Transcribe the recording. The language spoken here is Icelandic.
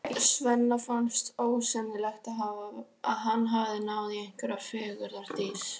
Svenna finnst ósennilegt að hann hafi náð í einhverja fegurðardís.